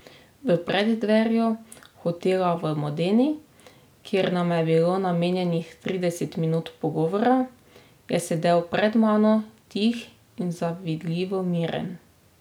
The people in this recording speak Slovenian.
V preddverju hotela v Modeni, kjer nama je bilo namenjenih trideset minut pogovora, je sedel pred mano tih in zavidljivo miren.